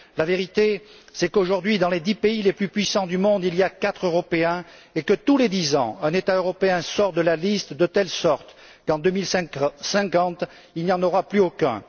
La vérité, c'est qu'aujourd'hui, dans les dix pays les plus puissants du monde, il y a quatre pays européens et que, tous les dix ans, un État européen sort de la liste, de telle sorte qu'en 2050, il n'y en aura plus aucun.